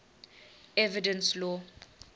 evidence law